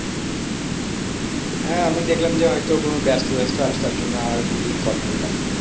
হ্যাঁ আমি দেখলাম হয়তো কোন ব্যস্ত আছো, তার জন্য আর ঘুরিয়ে call করলাম না।